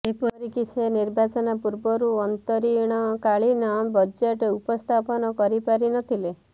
ଏପରିକି ସେ ନିର୍ବାଚନ ପୂର୍ବରୁ ଅନ୍ତରୀଣକାଳୀନ ବଜେଟ୍ ଉପସ୍ଥାପନ କରିପାରିନଥିଲେ